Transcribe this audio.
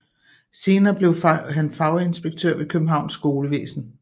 Senere blev han faginspektør ved Københavns Skolevæsen